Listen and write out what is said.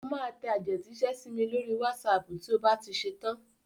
Ó máa tẹ àtẹ̀jíṣẹ́ sí mi lórí wásaàpù tí ó bá ti ṣetán.